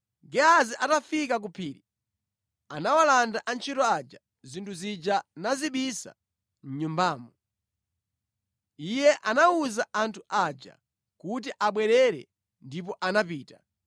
Gehazi atafika ku phiri, anawalanda antchito aja zinthu zija nazibisa mʼnyumbamo. Iye anawawuza anthu aja kuti abwerere ndipo anapita.